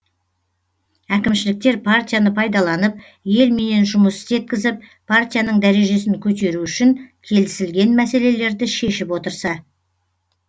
әкімшіліктер партияны пайдаланып елменен жұмыс істеткізіп партияның дәрежесін көтеру үшін келісілген мәселелерді шешіп отырса